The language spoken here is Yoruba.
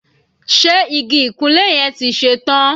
Ṣe igi ìkunlé yẹn ti ṣe tán?